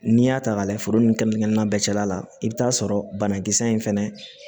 N'i y'a ta k'a lajɛ foro ni kɛnɛ na bɛɛ cɛla la i bɛ t'a sɔrɔ banakisɛ in fɛnɛ